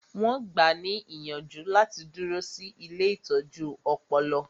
Wọn gbáà ní ìyànjú láti dúró sí ilée ìtọ́jú ọpọlọ